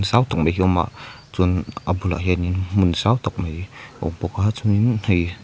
zau tak mai hi a awm a chuan a bulah hian in hmun zau tak mai a awm bawk a chuan in hei--